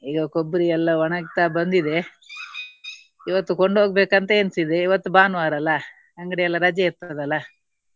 ಈಗ ಕೊಬ್ಬರಿ ಎಲ್ಲಾ ಒಣಗ್ತಾ ಬಂದಿದೆ ಇವತ್ತು ಕೊಂಡು ಹೋಗಬೇಕಂತ ಎಣಿಸಿದೆ. ಇವತ್ತು ಭಾನುವಾರ ಅಲ್ಲಾ. ಅಂಗಡಿ ಎಲ್ಲಾ ರಜೆ ಇರ್ತದೆ ಅಲ್ಲಾ.